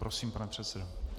Prosím, pane předsedo.